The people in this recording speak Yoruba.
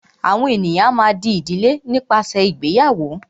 àwọn ènìyàn a má a dí ìdílé nípasẹ ìgbéyàwó.